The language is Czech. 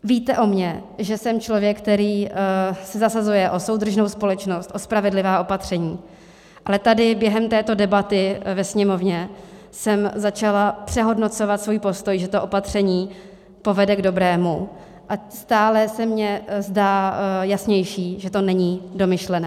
Víte o mně, že jsem člověk, který se zasazuje o soudržnou společnost, o spravedlivá opatření, ale tady během této debaty ve Sněmovně jsem začala přehodnocovat svůj postoj, že to opatření povede k dobrému, a stále se mně zdá jasnější, že to není domyšlené.